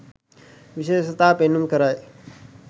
විශේෂතා පෙන්නුම් කරයි